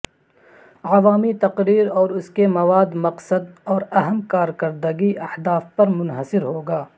عوامی تقریر اور اس کے مواد مقصد اور اہم کارکردگی اہداف پر منحصر ہوگا